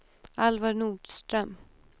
Alvar Nordström